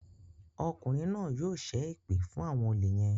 Ọkùnrin náà yóò ṣe èpè fún àwọn olè yén.